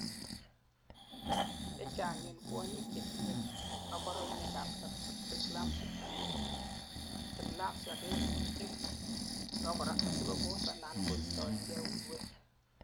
chechang en kwonyik chetinyei kaborunoik ab preeclampsia kerkyin abakora asikoboss anan koistoengei uinwek